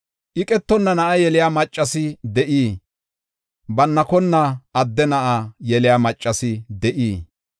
“Iqetonna na7a yeliya maccas de7ii? Bannakonna adde na7a yeliya maccas de7ii?